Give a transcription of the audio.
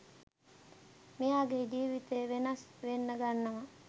මෙයාගේ ජිවිතේ වෙනස් වෙන්න ගන්නවා.